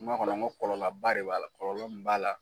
Kuma kɔnɔ n ko kɔlɔlɔba de b'a la kɔlɔlɔ min b'a la